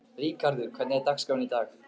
Ríkharður, hvernig er dagskráin í dag?